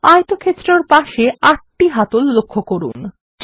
আয়তক্ষেত্রর পাশে আটটি হাতল লক্ষ্য করুন